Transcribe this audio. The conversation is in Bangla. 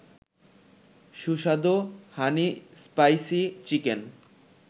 সুস্বাদু হানি-স্পাইসি-চিকেন